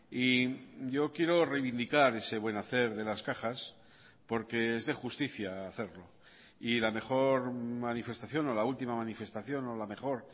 y yo quiero reivindicar ese buen hacer de las cajas porque es de justicia hacerlo y la mejor manifestación o la última manifestación o la mejor